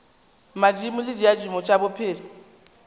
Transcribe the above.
madimo le diaduma tša bophelo